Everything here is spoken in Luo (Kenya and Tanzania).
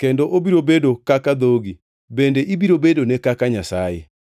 kendo obiro bedo kaka dhogi bende ibiro bedone kaka Nyasaye.